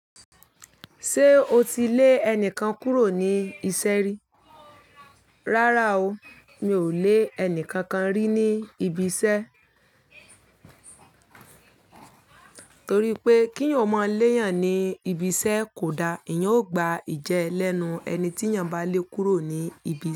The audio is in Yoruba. Ṣé o ti lé enikan kúrò ní isẹ́ rí? Rárá o, mi ò lé ẹnìkankan rí ní ibi isẹ́. Torí pé kí n ò mọ léèyàn ní ibi isẹ́ kò da. Ìyẹn ó gba ìjẹ lẹ́nu ẹni tí èèyàn bá lé kúrò ní ibi isẹ́